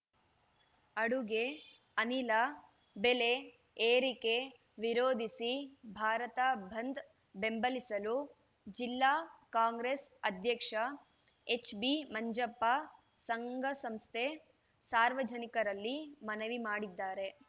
ಅಡುಗೆ ಅನಿಲ ಬೆಲೆ ಏರಿಕೆ ವಿರೋಧಿಸಿ ಭಾರತ ಬಂದ್‌ ಬೆಂಬಲಿಸಲು ಜಿಲ್ಲಾ ಕಾಂಗ್ರೆಸ್‌ ಅಧ್ಯಕ್ಷ ಎಚ್‌ಬಿಮಂಜಪ್ಪ ಸಂಘಸಂಸ್ಥೆ ಸಾರ್ವಜನಿಕರಲ್ಲಿ ಮನವಿ ಮಾಡಿದ್ದಾರೆ